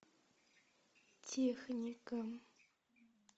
техника